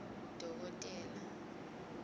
dokotela